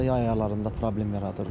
Yay aylarında problem yaradır.